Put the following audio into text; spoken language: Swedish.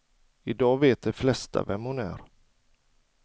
I dag vet de flesta vem hon är.